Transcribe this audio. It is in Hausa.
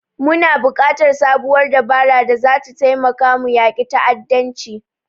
Muna buƙatar sabuwar dabara da zata taimaka mu yaƙi ta'addanci.